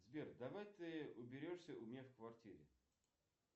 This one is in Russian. сбер давай ты уберешься у меня в квартире